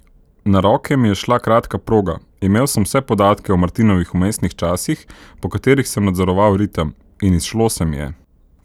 Na roke mi je šla kratka proga, imel sem vse podatke o Martinovih vmesnih časih, po katerih sem nadzoroval ritem, in izšlo se mi je.